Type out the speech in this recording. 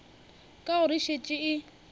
ka gore e šetše e